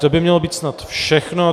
To by mělo být snad všechno.